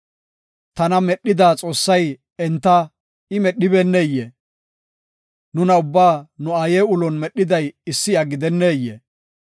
Tana medhida Xoossay enta I medhibeneyee? Nuna ubbaa nu aaye ulon medhiday issi iya gidenneyee?